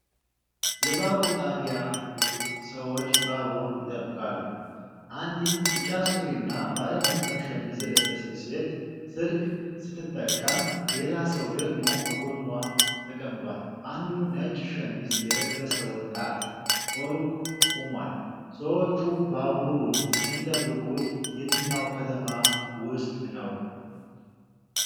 የባቡር ጣቢያ ውስጥ ሰዎች ባቡር ይጠብቃሉ። አንዲት ቢጫ ሱሪና ባለ መስመር ሸሚዝ የለበሰች ሴት ስልክ ስትጠቀም፣ ሌላ ሰው ደግሞ ከጎኗ ተቀምጧል፤ አንዱ ነጭ ሸሚዝ የለበሰ ወጣት በሩቅ ቆሟል፤ ሰዎቹ ባቡሩን የሚጠብቁት የትኛው ከተማ ውስጥ ነው?